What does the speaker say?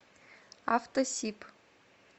автосиб